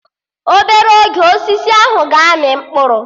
Obere oge, Osisi ahụ ga-amị mkpụrụ